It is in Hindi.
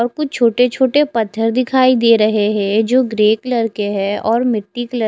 और कुछ छोटे पत्थर दिखाई दे रहे है जो ग्रे कलर की है और मिटटी कलर --